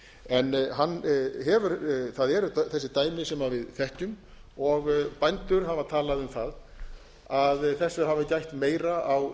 en það eru þessi dæmi sem við þekkjum og bændur hafa talað um að þessa hafi gætt meira á